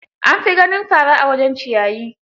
An fi ganin fara a wajen ciyayi.